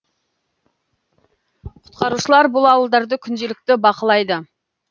құтқарушылар бұл ауылдарды күнделікті бақылайды